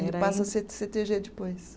Ele passa a ser Cê Tê Gê depois.